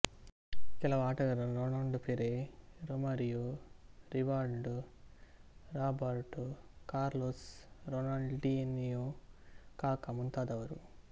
ಕೆಲವು ಆಟಗಾರರು Ronaldo Pele Romario Rivaldo Roberto Carlos Ronaldinho Kaka ಮುಂತಾದವರು